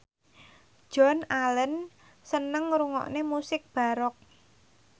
Joan Allen seneng ngrungokne musik baroque